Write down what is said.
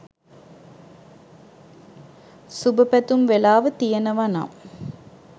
සුබ පැතුම් වෙලාව තියෙනවනම්